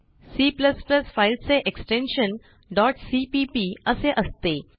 C files चे extension cpp असे असते